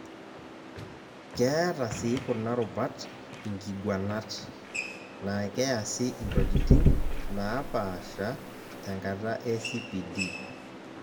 Keeta si kuna rubat inkiguanat, naa keasi intokiting' naapasha tenkata e CPD